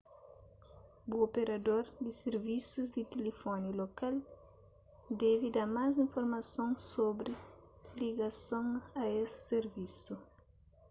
bu operador di sirvisus di tilifóni lokal debe da más informason sobri ligason a es sirvisu